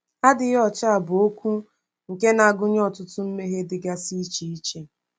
“Adịghị ọcha” bụ okwu nke na-agụnye ọtụtụ mmehie dịgasị iche iche.